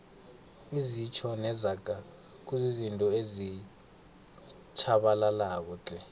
izitjho nezaga kuzizinto ezitjhabalalako tle